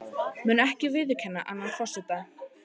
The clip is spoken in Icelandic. Mun ekki viðurkenna annan forseta